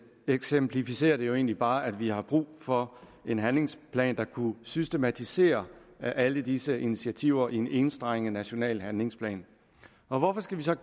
eksemplificerer det egentlig bare at vi har brug for en handlingsplan der kunne systematisere alle disse initiativer i en enstrenget national handlingsplan hvorfor skal vi så